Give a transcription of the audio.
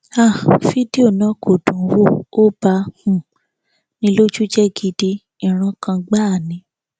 um fídíò náà kò dùnúnwò ó ba um ní lójú jẹ gidi ìrankàn gbáà ni